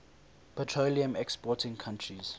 petroleum exporting countries